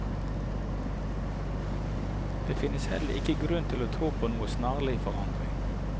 Det finnes heller ikke grunn til å tro på noen snarlig forandring.